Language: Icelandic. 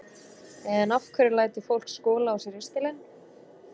En af hverju lætur fólk skola á sér ristilinn?